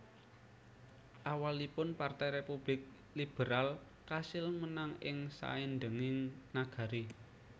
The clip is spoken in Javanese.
Awalipun Partai Républik Liberal kasil menang ing saindhenging nagari